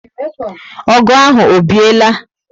O gu ahụ o biela?